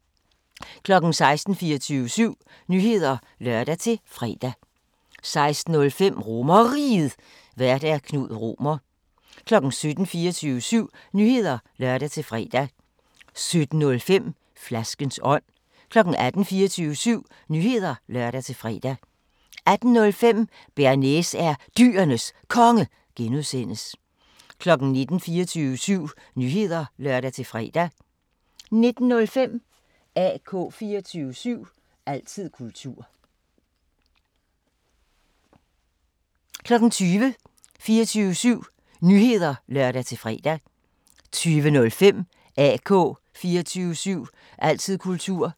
16:00: 24syv Nyheder (lør-fre) 16:05: RomerRiget, Vært: Knud Romer 17:00: 24syv Nyheder (lør-fre) 17:05: Flaskens ånd 18:00: 24syv Nyheder (lør-fre) 18:05: Bearnaise er Dyrenes Konge (G) 19:00: 24syv Nyheder (lør-fre) 19:05: AK 24syv – altid kultur 20:00: 24syv Nyheder (lør-fre) 20:05: AK 24syv – altid kultur